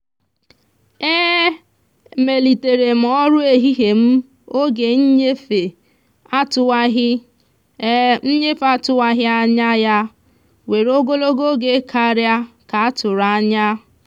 e emelitere m ọrụ ehihie m oge nnyefe atụwaghị nnyefe atụwaghị anya ya were ogologo oge karịa ka a tụrụ anya.